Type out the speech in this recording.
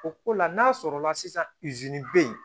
O ko la n'a sɔrɔla sisan izini bɛ yen